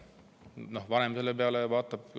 Vanem vaatab selle peale viltu.